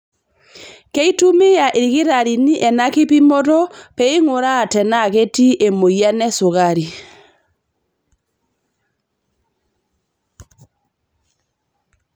Keitumia ilkitarrini ena kipimoto pee einguraa tenaa ketii emoyian esukari.